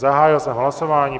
Zahájil jsem hlasování.